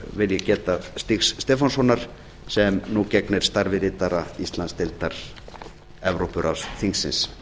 vil ég geta stígs stefánssonar sem nú gegnir starfi ritara íslandsdeildar evrópuráðsþingsins